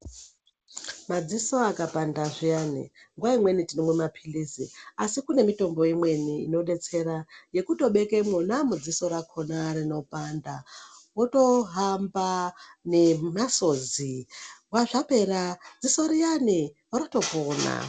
Madziso akapanda zviyani nguvaimweni tinomwa maphirizi asi kune mitombo imweni mitombo inodetsera yekutoveka mwona umwomwo mudziso rakhona rinopanda wotohamba nemasodzi bva zvapera dziso riyani rotopora.